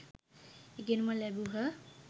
ඉගෙනුම ලැබූහ